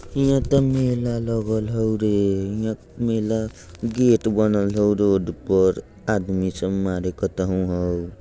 हियाँ त मेला लगल हउ रे। हियाँ मेला गेट बनल हउ । रोड पर आदमी सब मारे हउ ।